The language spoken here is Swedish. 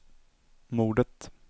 mordet